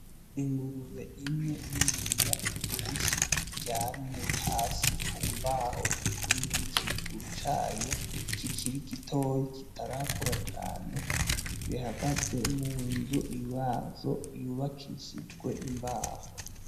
Ingurube imwe niniya ivyibushe iryamye hasi kumbaho irikumwe n'ikibuguru cayo kikiri gitoyi kitarakura cane bihagaze munzu yazo y'ubakishijwe imbaho.